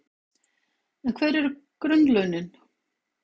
En hver eru grunnlaunin?